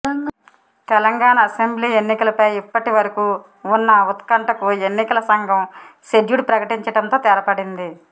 Telangana assembly ఎన్నికలపై ఇప్పటి వరకు ఉన్న ఉత్కంఠకు ఎన్నికల సంఘం షెడ్యూడ్ ప్రకటించడంతో తెరపడింది